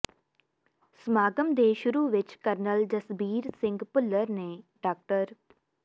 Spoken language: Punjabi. ਸਮਾਗਮ ਦੇ ਸ਼ੁਰੂ ਵਿਚ ਕਰਨਲ ਜਸਬੀਰ ਸਿੰਘ ਭੁੱਲਰ ਨੇ ਡਾ